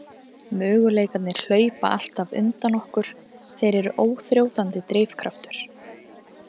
Möguleikarnir hlaupa alltaf undan okkur, þeir eru óþrjótandi drifkraftur.